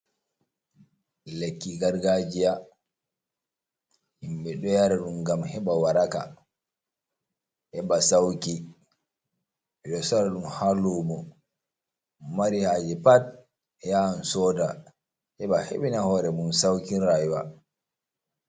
Lekki gargajiya himɓe ɗo yara ɗum ngam heɓa waraka, huɓa sawki, ɓe ɗo soora ɗum haa luumo, mo mari haaje pad, yahan sooda, heɓa heɓina hoore mum saukin rayuwa.